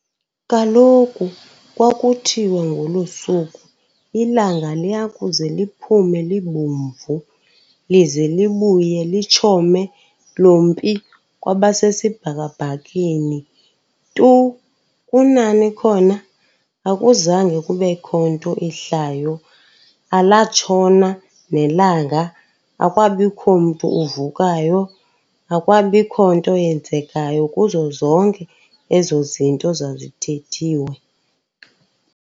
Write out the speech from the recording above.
Kaloku kwakuthiwe ngolo suku, ilanga liyakuze liphume libomvu, lize libuye litshome lompi kwasesibhakabhakeni. Tu kunani khona akuzange kubekho nto ihlayo, alatshona nelanga, akwabikho mntu uvukayo, akwabikho nto yenzekayo kuzo zonke ezo zinto zazithethiwe.